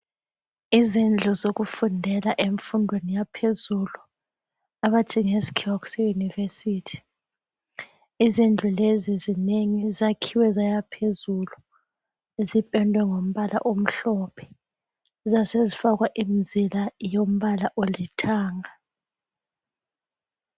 Izindlu zokufundela emfundweni yaphezulu abathi ngesikhiwa kuseYunivesi. Izindlu lezi zinengi, zakhiwe zayaphezulu. Zipendwe ngombala omhlophe zasezifakwa umzila wombala olithanga .